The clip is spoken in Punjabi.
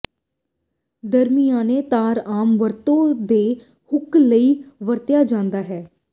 ਦਰਮਿਆਨੇ ਤਾਰ ਆਮ ਵਰਤੋਂ ਦੇ ਹੁੱਕ ਲਈ ਵਰਤਿਆ ਜਾਂਦਾ ਹੈ